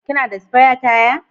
Kina da spire taya